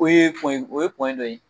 O ye o ye dɔ ye .